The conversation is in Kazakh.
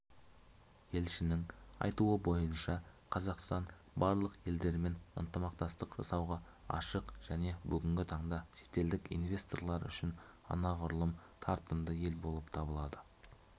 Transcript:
елшінің айтуы бойынша қазақстан барлық елдермен ынтымақтастық жасауға ашық және бүгінгі таңда шетелдік инвесторлар үшін анағұрлым тартымды ел болып табылады